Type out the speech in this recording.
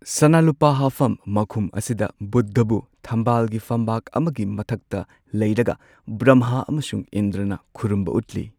ꯁꯅꯥ ꯂꯨꯄꯥ ꯍꯥꯞꯐꯝ ꯃꯈꯨꯝ ꯑꯁꯤꯗ ꯕꯨꯙꯕꯨ ꯊꯝꯕꯥꯜꯒꯤ ꯐꯝꯕꯥꯛ ꯑꯃꯒꯤ ꯃꯊꯛꯇ ꯂꯩꯔꯒ ꯕ꯭ꯔꯝꯍꯥ ꯑꯃꯁꯨꯡ ꯏꯟꯗ꯭ꯔꯅ ꯈꯨꯔꯨꯝꯕ ꯎꯠꯂꯤ꯫